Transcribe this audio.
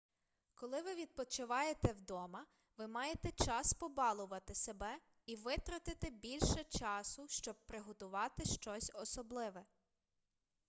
коли ви відпочиваєте вдома ви маєте час побалувати себе і витратити більше часу щоб приготувати щось особливе